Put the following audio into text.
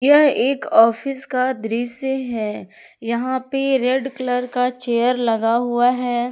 यह एक ऑफिस का दृश्य है यहां पे रेड कलर का चेयर लगा हुआ है।